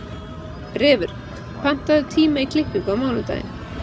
Refur, pantaðu tíma í klippingu á mánudaginn.